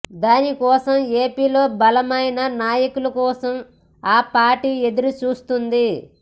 దానికోసం ఏపీలో బలమైన నాయకుల కోసం ఆ పార్టీ ఎదురుచూస్తోంది